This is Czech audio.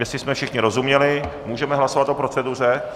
Jestli jsme všichni rozuměli, můžeme hlasovat o proceduře?